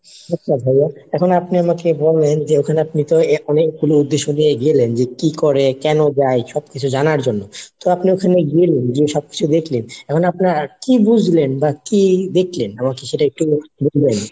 আচ্ছা ভাইয়া, এখন আপনি আমাকে বলেন যে, ওখানে আপনি তো এক অনেক কোনো উদ্দেশ্য নিয়েই গেলেন যে কি করে কেন যায় সবকিছু জানার জন্য, তো আপনি ঐখানে গেলেন, যেয়ে সবকিছু দেখলেন, এখন আপনার কি বুজলেন বা কি দেখলেন আমায় কি সেটা একটু বলবেন